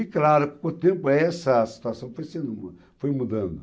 E, claro, com o tempo, essa situação foi foi mudando.